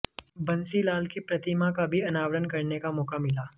बंसीलाल की प्रतिमा का भी अनावरण करने का मौका मिला